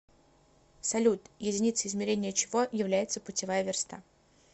салют единицей измерения чего является путевая верста